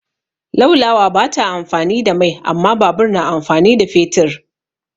Laulawa ba ta amfani da mai amma babur na amfani da fetur.